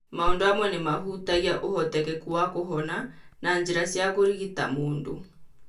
Maũndu amwe nĩ mahutagia ũhotekeku wa kũhona na njĩra cia kũrigita mũndũ.